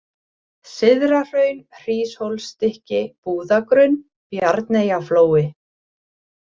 Syðrahraun, Hríshólsstykki, Búðagrunn, Bjarneyjaflói